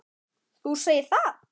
Þú segir það!